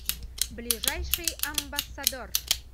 ближайший амбассадор